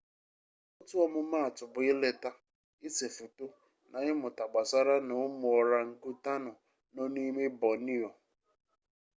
otu ọmụmaatụ bụ ileta ise foto na ịmụta gbasara na ụmụ ọrangụtanụ nọ n'ime bọnioo